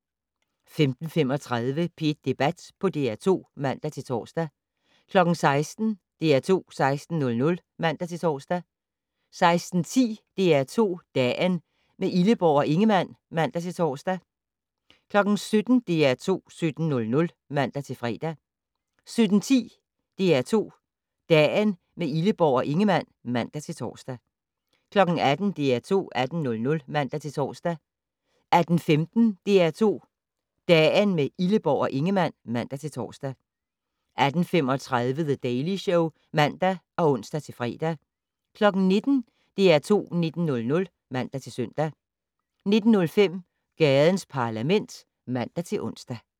15:35: P1 Debat på DR2 (man-tor) 16:00: DR2 16:00 (man-tor) 16:10: DR2 Dagen - med Illeborg og Ingemann (man-tor) 17:00: DR2 17:00 (man-fre) 17:10: DR2 Dagen - med Illeborg og Ingemann (man-tor) 18:00: DR2 18:00 (man-tor) 18:15: DR2 Dagen - med Illeborg og Ingemann (man-tor) 18:35: The Daily Show (man og ons-fre) 19:00: DR2 19:00 (man-søn) 19:05: Gadens Parlament (man-ons)